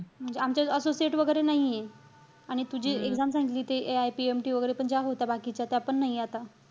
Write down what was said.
म्हणजे आमच्यात associate वगैरे नाहीये. आणि तू जे exam सांगितली, ते AIPMT वगैरे पण ज्या होत्या बाकीच्या, त्या पण नाही आहे आता.